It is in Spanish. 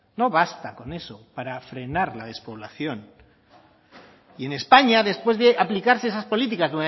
no basta con eso para frenar la despoblación y en españa después de aplicarse esas políticas